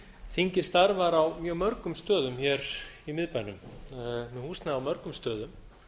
þingið starfar á mjög mörgum stöðum í miðbænum það er með húsnæði á mörgum stöðum